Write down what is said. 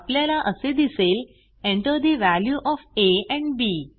आपल्याला असे दिसेल Enter the value of a and B